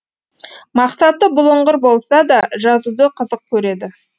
мақсаты бұлыңғыр болса да жазуды қызық көреді